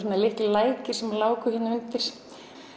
litlir lækir sem láku hér undir